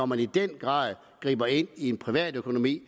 man i den grad griber ind i privatøkonomien